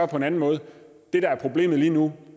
på en anden måde det der er problemet lige nu